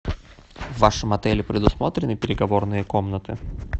в вашем отеле предусмотрены переговорные комнаты